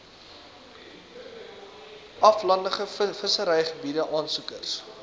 aflandige visserygebiede aansoekers